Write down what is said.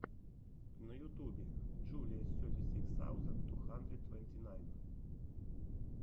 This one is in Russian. на ютубе джулиа сети сикс саузенд ту хандрид твэнти найн